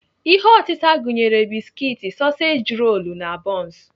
Ihe otịta gụnyere biskit, sọseji rolu, na bọns.